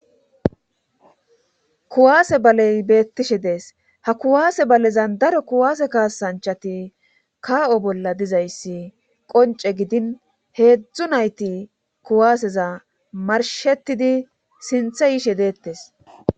Kuwaase baley beettishe dees. Ha kuwaase balezan daro kuwaase kaasanchati kaa'o bolla diza issi qonce gidin heezzu nayti kuwaaseza marshetidi sintha yishe deettes.